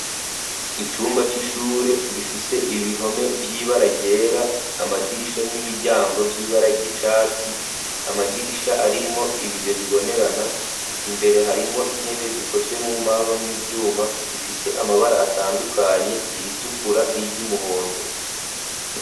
Icumba c'ishure gifise ibihome vy'ibara ryera, amadirisha n'imiryango vy'ibara ry'icatsi, amadirisha arimwo ibiyo bibonerana, imbere harimwo intebe zikozwe mumbaho n'ivyuma, zifise amabara atandukanye: iritukura n'iry'umuhondo.